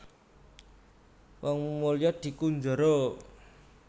Wong mulya dikunjara